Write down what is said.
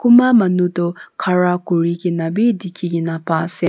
Kunba manu tuh khara kurikena bhi dekhekena pa ase.